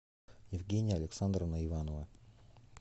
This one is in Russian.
евгения александровна иванова